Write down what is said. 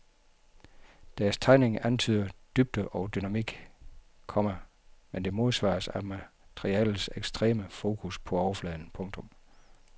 Deres tegning antyder dybde og dynamik, komma men den modsvares af materialets ekstreme fokus på overfladen. punktum